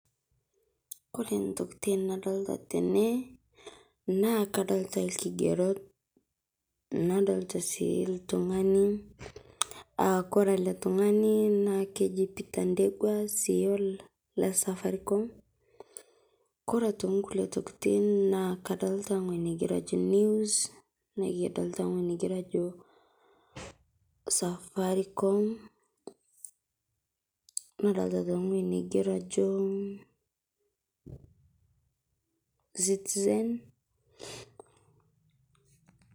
Kore ntokitin nadolita tene naa kadolita ilkigeroot nadolita sii ltung'ani aa kore ele ltung'ani naa kejii Peter Ndegwa CEO le Safaricom. Kore aitokii nkulee ntokitin naa kadolita ng'ojii nageroo ajoo news nekidolita ng'oji naigero ajoo Safaricom, nadolita aitokii ng'ojii neigeroo ajoo Citizen.